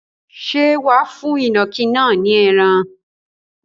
Ṣé wà á fún ìnàkí náà ní ẹran?